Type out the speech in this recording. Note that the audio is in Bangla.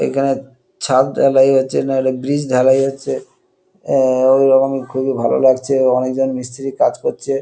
এখানে ছাদ ঢালাই হচ্ছে নাহলে ব্রিজ ঢালাই হচ্ছে এ-এ-এ এরকম খুবই ভালো লাগছে অনেকজন মিস্তিরি কাজ করছে।